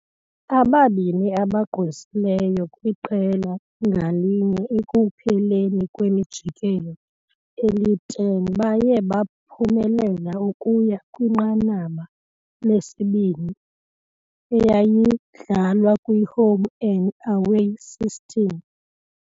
Ababini abagqwesileyo kwiqela ngalinye ekupheleni kwemijikelo eli-10 baye baphumelela ukuya kwinqanaba lesibini, eyayidlalwa kwi-home-and-away system.